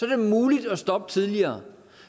det muligt at stoppe tidligere